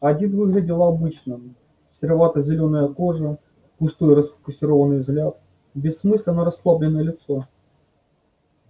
один выглядел обычным серовато-зелёная кожа пустой расфокусированный взгляд бессмысленно-расслабленное лицо